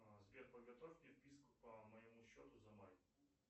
сбер подготовь мне вписку по моему счету за май